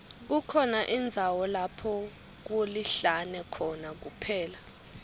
kukhona indzawo lapho kulihlane khona kuphela